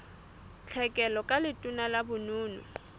tlhekelo ka letona la bonono